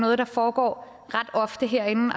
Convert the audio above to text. noget der foregår ret ofte herinde